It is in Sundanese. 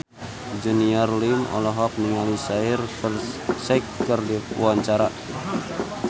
Junior Liem olohok ningali Shaheer Sheikh keur diwawancara